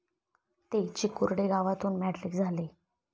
ते चिकुर्डे गावातून मॅट्रिक झाले